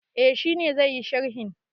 Eh, shi ne zai yi sharhin.